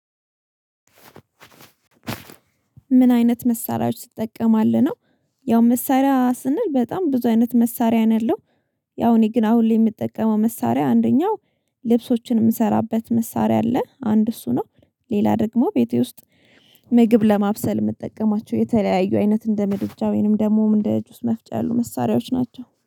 ምን አይነት መሳሪያዎች ትጠቀማለህ ነው ያው መሳሪያ ስንል በጣም ብዙ አይነት መሳሪያ ነው ያለው። ያው እኔ ግን አሁን ላይ የምጠቀመው መሳሪያ አንደኛው ልብሶችን የምሰራበት መሳሪያ አለ አንድ እሱ ነው ሌላ ደግሞ ቤቴ ውስጥ ምግብ ለማብሰል የምጠቀማቸው የተለያዩ አይነት እንደ ምድጃ ወይንም ደግሞ እንደ ጁስ መፍጫ ያሉ መሳሪያዎች ናቸው።